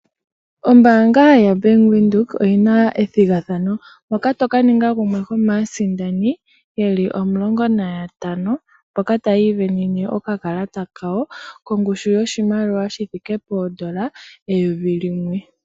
Ombaanga yoBank Windhoek oyina ethigathano moka toka ninga gumwe gwomaasindani yeli omulongo nantano, mboka tayii sindanene okakalata kawo, kongushu yoshimaliwa shithike poondola eyovi limwe.